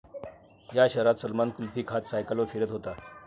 या' शहरात सलमान कुल्फी खात सायकलीवर फिरत होता!